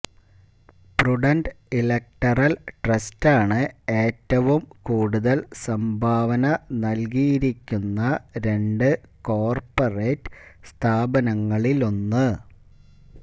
prudent electoral ട്രസ്റ്റാണ് ഏറ്റവും കൂടുതല് സംഭാവന നല്കിയിരിക്കുന്ന രണ്ട് കോര്പ്പറേറ്റ് സ്ഥാപനങ്ങളിലൊന്ന്